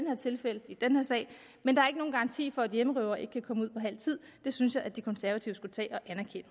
her tilfælde og i den her sag men der er ikke nogen garanti for at hjemmerøvere ikke kan komme ud efter halv tid det synes jeg at de konservative skulle tage